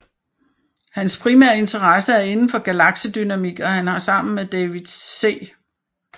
Hans primære interesse er indenfor galaksedynamik og han har sammen med David C